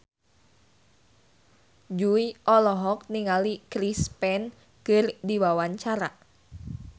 Jui olohok ningali Chris Pane keur diwawancara